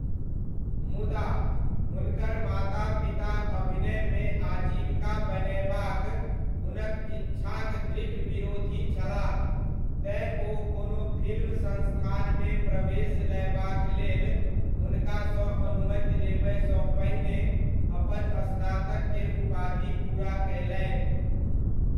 मुदा, हुनकर माता पिता अभिनयमे आजीविका बनयबाक हुनक इच्छाक दृढ़ विरोधी छलाह, तेँ, ओ कोनो फिल्म संस्थानमे प्रवेश लयबाक लेल हुुनकासँ अनुमति लेबयसँ पहिने अपन स्नातक केर उपाधि पूरा कयलनि।